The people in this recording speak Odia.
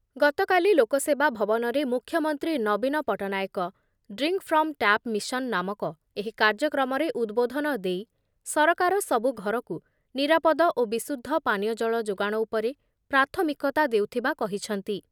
ଗତକାଲି ଲୋକସେବା ଭବନରେ ମୁଖ୍ୟମନ୍ତ୍ରୀ ନବୀନ Patnaik ‘drink from tap mission’ ନାମକ ଏହି କାର୍ଯ୍ୟକ୍ରମରେ ଉଦ୍‌ବୋଧନ ଦେଇ ସରକାର ସବୁ ଘରକୁ ନିରାପଦ ଓ ବିଶୁଦ୍ଧ ପାନୀୟ ଜଳ ଯୋଗାଣ ଉପରେ ପ୍ରାଥମିକତା ଦେଉଥିବା କହିଛନ୍ତି ।